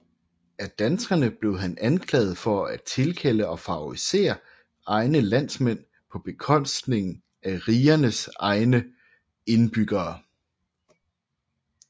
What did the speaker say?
Af danskerne blev han anklaget for at tilkalde og favorisere egne landsmænd på bekostning af rigernes egne indbyggere